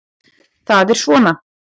Það er svona.